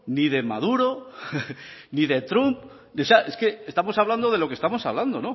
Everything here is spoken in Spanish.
ni de maduro ni de trump o sea estamos hablando de lo que estamos hablando